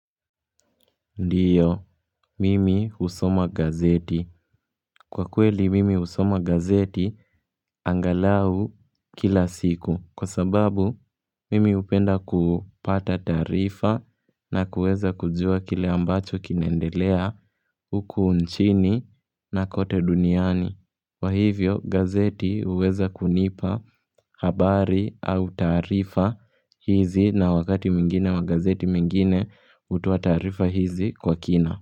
Ndiyo, mimi husoma gazeti. Kwa kweli, mimi husoma gazeti angalau kila siku. Kwa sababu, mimi hupenda kupata tarifa na kuweza kujua kile ambacho kinaendelea huku nchini na kote duniani. Kwa hivyo, gazeti huweza kunipa habari au taarifa hizi na wakati mwingine wa gazeti mingine hutoa tarifa hizi kwa kina.